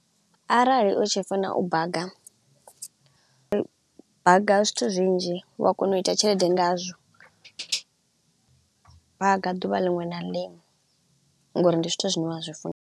Arali u tshi funa u baga, baga zwithu zwinzhi u a kona u ita tshelede ngazwo, baga ḓuvha ḽiṅwe na ḽiṅwe ngauri ndi zwithu zwine wa zwi funa.